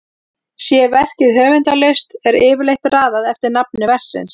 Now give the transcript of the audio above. Sé verkið höfundarlaust er yfirleitt raðað eftir nafni verksins.